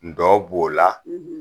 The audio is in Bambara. Ndɔ b'o la